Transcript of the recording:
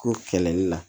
Ko kɛlɛli la